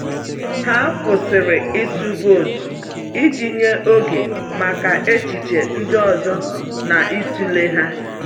Ha kwụsịrị ịtụ vootu iji nye oge maka echiche ndị ọzọ na ịtụle ha.